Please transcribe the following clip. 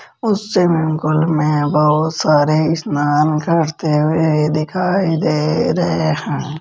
उस स्विमिंग मैं बहुत सारे स्नान करते हुए दिखाई दे रहे हैं।